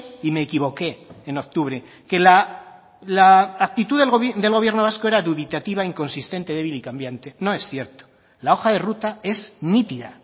y me equivoqué en octubre que la actitud del gobierno vasco era dubitativa inconsistente débil y cambiante no es cierto la hoja de ruta es nítida